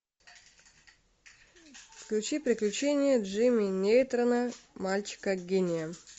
включи приключения джимми нейтрона мальчика гения